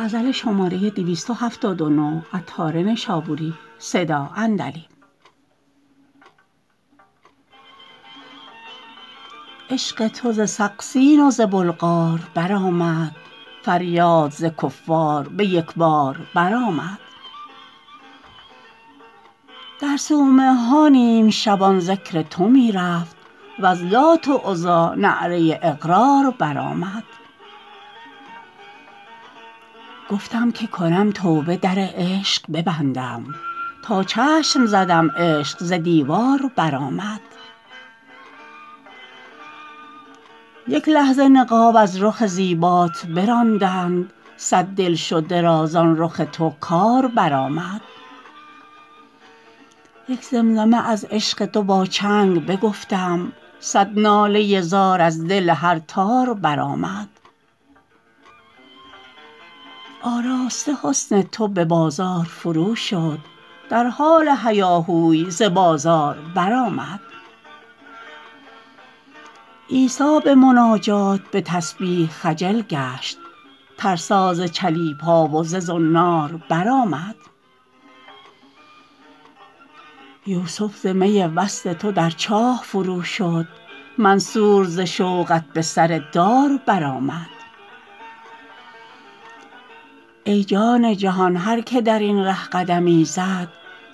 عشق تو ز سقسین و ز بلغار برآمد فریاد ز کفار به یک بار برآمد در صومعه ها نیم شبان ذکر تو می رفت وز لات و عزی نعره اقرار برآمد گفتم که کنم توبه در عشق ببندم تا چشم زدم عشق ز دیوار برآمد یک لحظه نقاب از رخ زیبات براندند صد دلشده را زان رخ تو کار برآمد یک زمزمه از عشق تو با چنگ بگفتم صد ناله زار از دل هر تار برآمد آراسته حسن تو به بازار فروشد در حال هیاهوی ز بازار برآمد عیسی به مناجات به تسبیح خجل گشت ترسا ز چلیپا و ز زنار برآمد یوسف ز می وصل تو در چاه فروشد منصور ز شوقت به سر دار برآمد ای جان جهان هر که درین ره قدمی زد